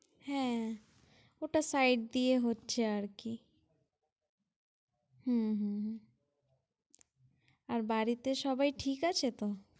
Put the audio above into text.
হ্যাঁ, ওটা site দিয়ে হচ্ছে আরকি। হ্যাঁ হ্যাঁ হ্যাঁ, আর বাড়িতে সবাই ঠিক আছে তো?